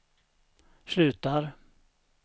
slutar